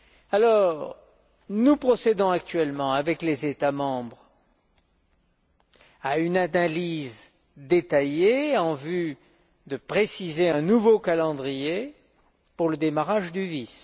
Alors, nous procédons actuellement, avec les États membres, à une analyse détaillée en vue de préciser un nouveau calendrier pour le démarrage du VIS.